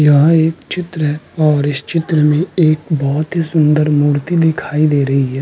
यह एक चित्र है और इस चित्र में एक बहौत ही सुन्दर मूर्ति दिखाई दे रही है।